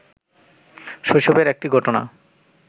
শৈশবের একটি ঘটনা